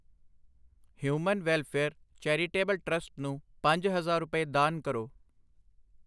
human welfare charitable trust ਨੂੰ ਪੰਜ ਹਜ਼ਾਰ ਰੁਪਏ ਦਾਨ ਕਰੋ